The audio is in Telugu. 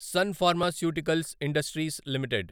sun Pharmaceuticals Industries limited